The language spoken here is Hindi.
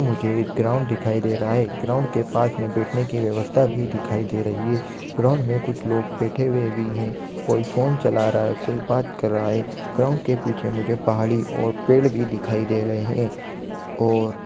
मुझे एक ग्राउन्ड दिखाई दे रहा है ग्राउन्ड के पास में बैठने की व्यवस्था भी दिखाई दे रही है ग्राउन्ड में कुछ लोग बैठे हुए भी है कोई फोन चला रहा कोई बात कर रहा है ग्राउन्ड के पीछे मुझे पहाड़ी और पेड़ भी दिखाई दे रहे है और--